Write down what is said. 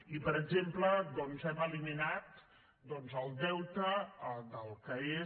i per exemple doncs hem eliminat el deute del que és